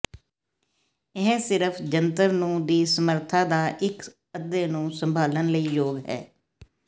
ਇਹ ਸਿਰਫ ਜੰਤਰ ਨੂੰ ਦੀ ਸਮਰੱਥਾ ਦਾ ਇੱਕ ਅੱਧੇ ਨੂੰ ਸੰਭਾਲਣ ਲਈ ਯੋਗ ਹੈ